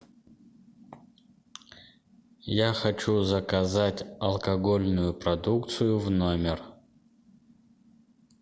я хочу заказать алкогольную продукцию в номер